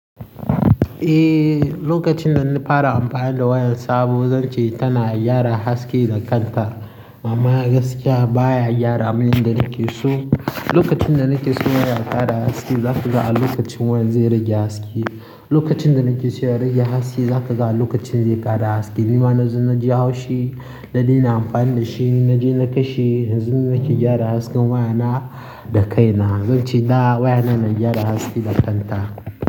Eh, lokacin da n'fara amfani da wayan sabo zan ce tana gyara haske da kanta. Amma gaskiya baya gyara manyan da nake so. Lokacin da nake so waya ta gyara haske, za su ga lokacin wayan zai rage haske. Lokacin da nake so ya rage haske, za ka ga lokacin zai ƙara haske. Ni ma na zo naji haushi da ni na amfani da shi. Na je na kashe, yanzu nake gyara hasken wayana da kaina. Zan ce da wayana na gyara haske da kanta.